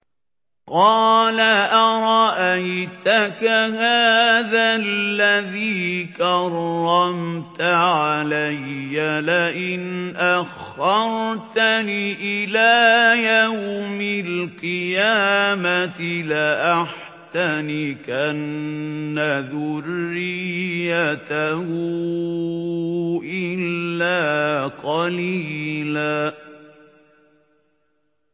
قَالَ أَرَأَيْتَكَ هَٰذَا الَّذِي كَرَّمْتَ عَلَيَّ لَئِنْ أَخَّرْتَنِ إِلَىٰ يَوْمِ الْقِيَامَةِ لَأَحْتَنِكَنَّ ذُرِّيَّتَهُ إِلَّا قَلِيلًا